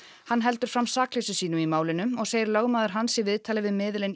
hann heldur fram sakleysi sínu í málinu og segir lögmaður hans í viðtali við miðilinn